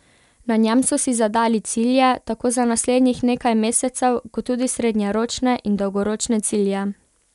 Na njem so si zadali cilje tako za naslednjih nekaj mesecev kot tudi srednjeročne in dolgoročne cilje.